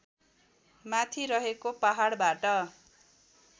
माथि रहेको पहाडबाट